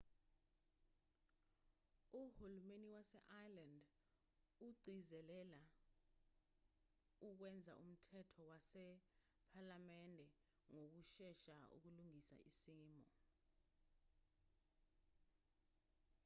uhulumeni wase-ireland ugcizelela ukwenza umthetho wasephalamende ngokushesha ukulungisa isimo